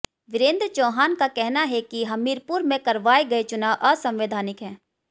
वीरेंद्र चौहान का कहना है कि हमीरपुर में करवाये गये चुनाव असंवैधानिक हैं